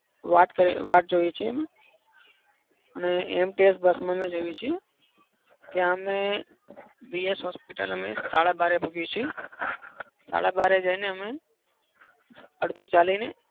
વાટ કરીએ વાટ જોઈએ છીએ અમે. અને AMTS bus જાઈયે છીયે ત્યાં અમે hospital સાડા બારે પહોચીએ છે. સાડા બારે જઈ ને અમે અડધુ ચાલીને